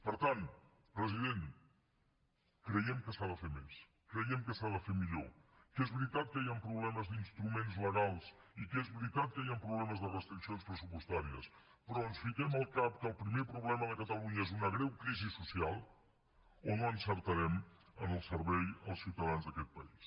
per tant president creiem que s’ha de fer més creiem que s’ha de fer millor que és veritat que hi han problemes d’instruments legals i que és veritat que hi han problemes de restriccions pressupostàries però o ens fiquem al cap que el primer problema de catalunya és una greu crisi social o no encertarem en el servei als ciutadans d’aquest país